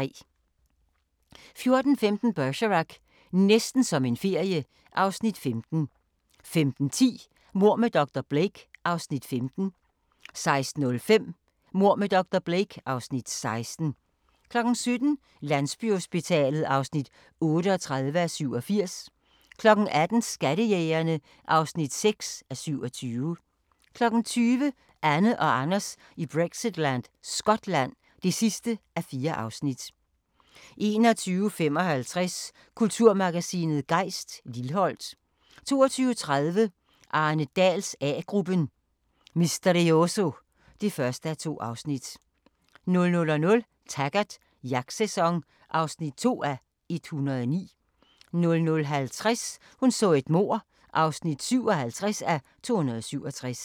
14:15: Bergerac: Næsten som en ferie (Afs. 15) 15:10: Mord med dr. Blake (Afs. 15) 16:05: Mord med dr. Blake (Afs. 16) 17:00: Landsbyhospitalet (38:87) 18:00: Skattejægerne (6:27) 20:00: Anne og Anders i Brexitland: Skotland (4:4) 21:55: Kulturmagasinet Gejst: Lilholt 22:30: Arne Dahls A-gruppen: Misterioso (1:2) 00:00: Taggart: Jagtsæson (2:109) 00:50: Hun så et mord (57:267)